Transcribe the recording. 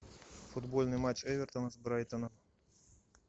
футбольный матч эвертона с брайтоном